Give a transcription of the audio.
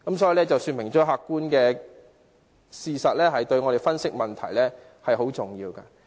這事說明客觀事實對我們分析問題很重要。